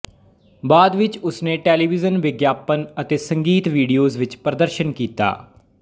ਬਾਅਦ ਵਿੱਚ ਉਸਨੇ ਟੈਲੀਵੀਜਨ ਵਿਗਿਆਪਨ ਅਤੇ ਸੰਗੀਤ ਵਿਡੀਓਜ਼ ਵਿੱਚ ਪ੍ਰਦਰਸ਼ਨ ਕੀਤਾ